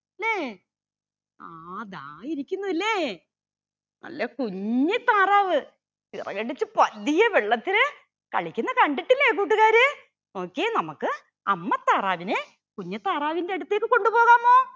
ല്ലേ ആ ദാ ഇരിക്കുന്നുവല്ലേ നല്ല കുഞ്ഞി താറാവ് ചിറകടിച്ച് പതിയെ വെള്ളത്തില് കളിക്കുന്ന കണ്ടിട്ടില്ലേ കൂട്ടുകാരെ നോക്കിയേ നമ്മക് അമ്മ താറാവിനെ കുഞ്ഞി താറാവിന്റെ അടുത്തേക്ക് കൊണ്ടു പോകാമോ.